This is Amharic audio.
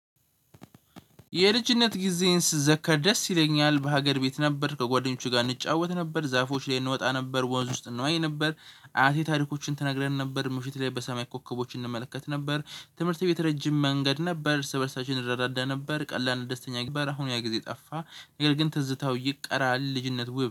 የልጅነት ጊዜን ስዘከር ደስ ይለኛል በሀገር ቤት ነበር ከጓደኞቹ ጋር እንጫወት ነበር ዛፎች ላይ እንወጣ ነበር ወንዝ ውስጥ እንዋኝ ነበር። አያቴ ታሪኮችን ተነግረን ነበር ምሽት ላይ በሰማይ ኮከቦች እንመለከት ነበር። ትምህርተ ቤት ረጅም መንገድ ነበር እርስ በርሳችን እንረዳዳ ነበር ቀላል ደስተኛ ነበር። አሁን ያ ጊዜ ጠፋ። ነገር ግን ትዝታው ይቀራል። ልጅነት ውብ።